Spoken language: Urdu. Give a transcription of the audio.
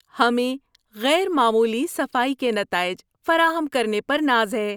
ہمیں غیر معمولی صفائی کے نتائج فراہم کرنے پر ناز ہے۔